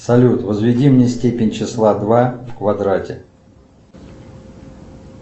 салют возведи мне степень числа два в квадрате